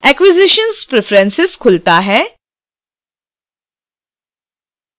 acquisitions preferences खुलता है